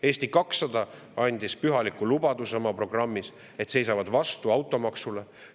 " Eesti 200 andis oma programmis pühaliku lubaduse, et nad seisavad vastu automaksule.